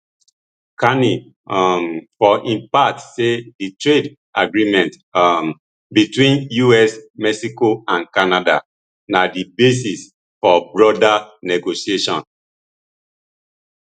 carney um for im part say di trade agreement um between us mexico and canada na di basis for broader negotiation